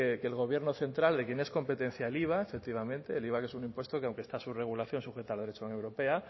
que el gobierno central de quien es competencia el iva efectivamente el iva que es un impuesto que aunque está su regulación sujeta al derecho de la unión europea